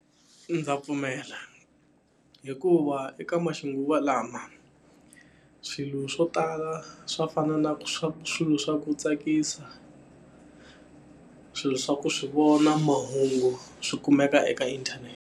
Ndza pfumela. Hikuva eka maxinguvalawa, swilo swo tala swa fana ku na swa swilo swa ku tsakisa, swilo swa ku swi vona, mahungu, swi kumeka eka inthanete.